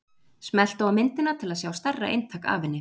Smelltu á myndina til að sjá stærra eintak af henni.